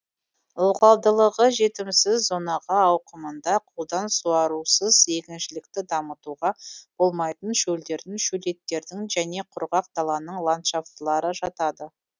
ылғалдылығы жетімсіз зонаға ауқымында қолдан суарусыз егіншілікті дамытуға болмайтын шөлдердің шөлейттердің және құрғақ даланың ландшафтылары жатады